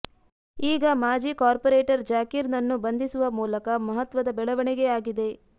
ಈಗ ಮಾಜಿ ಕಾರ್ಪೊರೇಟರ್ ಜಾಕೀರ್ ನನ್ನು ಬಂಧಿಸುವ ಮೂಲಕ ಮಹತ್ವದ ಬೆಳವಣಿಗೆಯಾಗಿದೆ